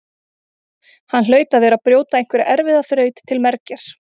Hann hlaut að vera að brjóta einhverja erfiða þraut til mergjar.